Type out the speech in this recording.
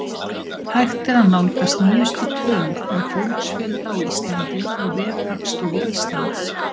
Hægt er að nálgast nýjustu tölur um fólksfjölda á Íslandi á vef Hagstofu Íslands.